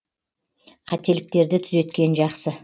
қателіктерді түзеткен жақсы